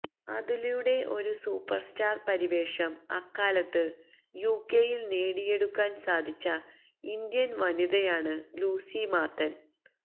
അതിലൂടെ ഒരു സൂപ്പർസ്റ്റാർ പരിവേഷം അക്കാലത്ത് യുകെയിൽ നേടിയെടുക്കാൻ സാധിച്ച ഇന്ത്യൻ വനിതയാണ് ലൂസി മാത്തൻ